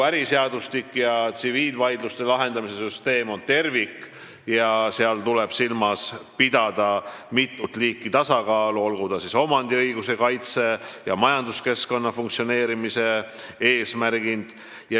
Äriseadustik ja kogu tsiviilvaidluste lahendamise süsteem on tervik ja seal tuleb silmas pidada mitut liiki tasakaalu, olgu selleks siis omandiõiguse kaitse või majanduskeskkonna funktsioneerimise eesmärgid.